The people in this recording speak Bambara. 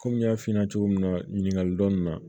Kɔmi n y'a f'i ɲɛna cogo min na ɲininkali dɔɔni na